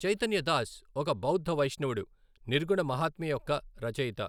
చైతన్య దాస్ ఒక బౌద్ధ వైష్ణవుడు, నిర్గుణ మహాత్మ్య యొక్క రచయిత.